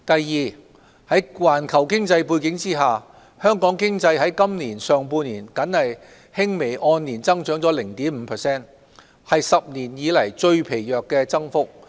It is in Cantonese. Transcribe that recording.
二在環球經濟背景下，香港經濟在今年上半年僅輕微按年增長 0.5%， 為10年來最疲弱的增幅。